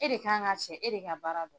E de ka kan ka cɛ e de ka baara don.